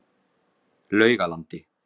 Laugalandi